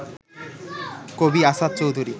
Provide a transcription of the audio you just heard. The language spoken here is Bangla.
কবি আসাদ চৌধুরী